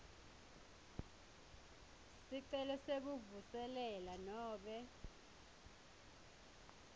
sicelo sekuvuselela nobe